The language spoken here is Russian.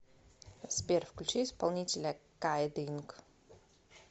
сбер включи исполнителя кайд инк